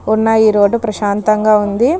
ఉన్న ఈ రోడ్ ప్రశాంతంగా ఉంది.